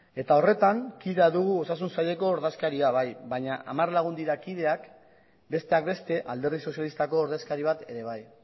eta horretan kide dugu osasun saileko ordezkaria bai baina hamar lagun dira kideak besteak beste alderdi sozialistako ordezkari bat ere bai